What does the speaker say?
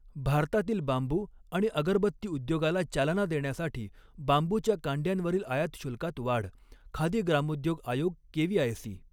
भारतातील बांबू आणि अगरबत्ती उद्योगाला चालना देण्यासाठी बांबूच्या कांड्यांवरील आयात शुल्कात वाढः खादी ग्रामोद्योग आयोग केवीआयसी